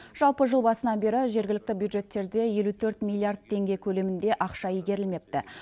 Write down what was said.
жалпы жыл басынан бері жергілікті бюджеттерде елу төрт миллиард теңге көлемінде ақша игерілмепті